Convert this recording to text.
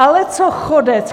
Ale co chodec?